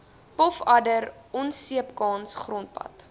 pofadder onseepkans grondpad